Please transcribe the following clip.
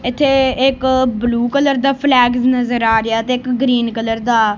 ਇਥੇ ਇਕ blue colour ਦਾ ਫਲੈਗ ਨਜ਼ਰ ਆ ਰਿਹਾ ਤੇ ਇੱਕ ਗਰੀਨ ਕਲਰ ਦਾ।